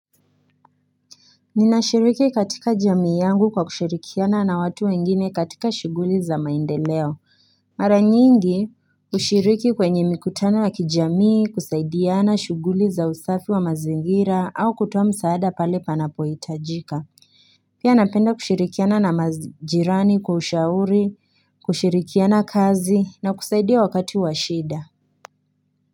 Ninashiriki katika jamii yangu kwa kushirikiana na watu wengine katika shughuli za maendeleo Mara nyingi kushiriki kwenye mikutano wa kijamii kusaidiana shughuli za usafi wa mazingira au kutoa msaada pale panapohitajika Pia napenda kushirikiana na majirani kwa ushauri kushirikiana kazi na kusaidia wakati wa shida.